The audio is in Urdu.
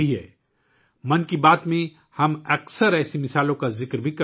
'من کی بات' میں ہم اکثر ایسی مثالوں پر بات کرتے ہیں